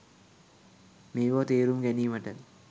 මේ බව තේරුම් ගැනීමට